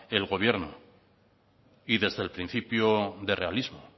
el gobierno y desde el principio de realismo